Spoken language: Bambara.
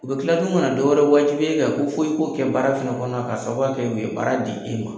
U bɛ tila tuguni kana dɔw wɛrɛ wajibiya e kan ko fɔ e ko kɛ baara fɛnɛ kɔnɔna na ka sababu kɛ u ye baara di e ma.